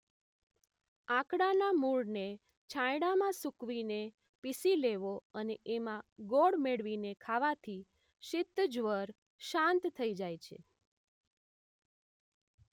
આંકડાના મૂળને છાંયડામાં સુકવીને પીસી લેવો અને એમાં ગોળ મેળવીને ખાવાથી શીત જ્વર શાંત થઇ જાય છે